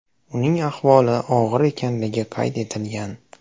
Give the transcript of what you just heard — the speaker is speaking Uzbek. Uning ahvoli og‘ir ekanligi qayd etilgan.